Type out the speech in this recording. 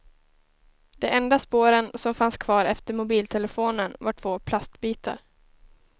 De enda spåren som fanns kvar efter mobiltelefonen var två plastbitar.